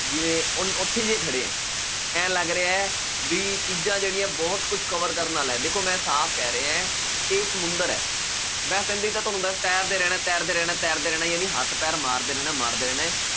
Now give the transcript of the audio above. ਜਿਵੇਂ ਉਨ ਉੱਥੇ ਜਿਹੇ ਖੜੇ ਹੈ, ਇਉਂ ਲੱਗ ਰਿਹਾ ਹੈ ਵੀ ਚੀਜ਼ਾਂਂ ਜਿਹੜੀਆਂ ਬਹੁਤ ਕੁਛ cover ਕਰਨ ਵਾਲਾ ਹੈ ਦੇਖੋ ਮੈਂ ਸਾਫ਼ ਕਹਿ ਰਿਹਾ ਹੈ ਇਹ ਸਮੁੰਦਰ ਹੈ ਤੈਰਦੇ ਰਹਿਣਾ, ਤੈਰਦੇ ਰਹਿਣਾ, ਤੈਰਦੇ ਰਹਿਣਾ, ਜਾਨੀ ਹੱਥ ਪੈਰ ਮਾਰਦੇ ਰਹਿਣਾ, ਮਾਰਦੇ ਰਹਿਣਾ ਹੈ